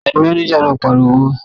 Ta ni máníjà náà pariwo mọ́.?